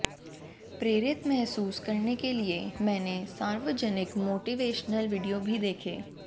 प्रेरित महसूस करने के लिए मैंने सार्वजनिक मोटिवेशनल वीडियो भी देखे